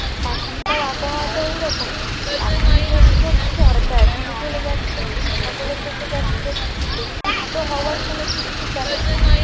এখনকার আবহাওয়াটা এরকমই এখনই মেঘ ধরছে, এখনই চলে যাচ্ছে, নিম্নচাপ হলে থেকে যাচ্ছে বৃষ্টির তো হওয়ার কোনো ঠিক ঠিকানা নেই।